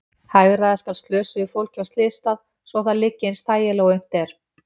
Hagræða skal slösuðu fólki á slysstað svo að það liggi eins þægilega og unnt er.